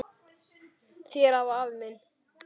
Þér afi minn.